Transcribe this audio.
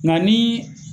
Nka ni